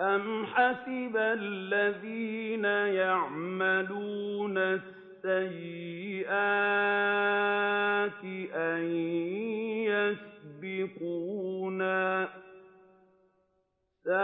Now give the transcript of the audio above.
أَمْ حَسِبَ الَّذِينَ يَعْمَلُونَ السَّيِّئَاتِ أَن يَسْبِقُونَا ۚ سَاءَ